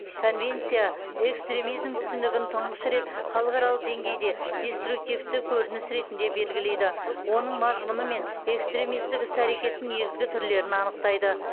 конвенция экстремизм түсінігін тұңғыш рет халықаралық деңгейде деструктивті көрініс ретінде белгілейді оның мазмұны мен экстремистік іс әрекеттің негізгі түрлерін анықтайды